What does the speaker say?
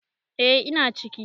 Eh ina ciki.